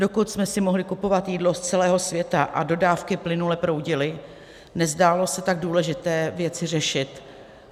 Dokud jsme si mohli kupovat jídlo z celého světa a dodávky plynule proudily, nezdálo se tak důležité věci řešit.